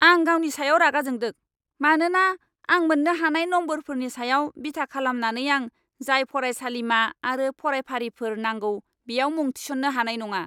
आं गावनि सायाव रागा जोंदों, मानोना आं मोन्नो हानाय नम्बरफोरनि सायाव बिथा खालामनानै आं जाय फरायसालिमा आरो फरायफारिफोर नांगौ बेयाव मुं थिसननो हानाय नङा।